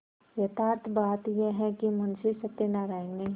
यथार्थ बात यह है कि मुंशी सत्यनाराण ने